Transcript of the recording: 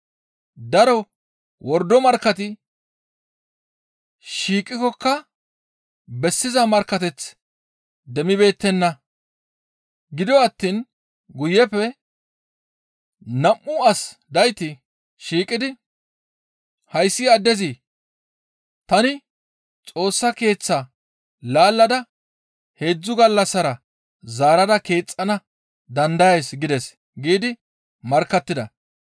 Daro wordo markkati shiiqikkoka bessiza markkateth demmibeettenna; gido attiin guyeppe nam7u as dayti shiiqidi, «Hayssi addezi, ‹Tani Xoossa Keeththaa laallada heedzdzu gallassara zaarada keexxana dandayays› gides» giidi markkattida.